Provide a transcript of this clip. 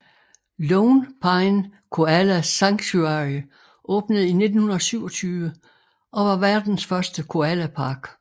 Lone Pine Koala Sanctuary åbnede i 1927 og var verdens første koalapark